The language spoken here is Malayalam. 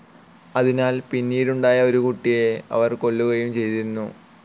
അതിനാൽ പിന്നീടുണ്ടായ ഒരു കുട്ടിയെ അവൾ കൊല്ലുകയും ചെയ്തിരുന്നു.